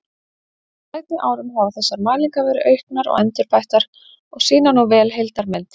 Á seinni árum hafa þessar mælingar verið auknar og endurbættar og sýna nú vel heildarmynd.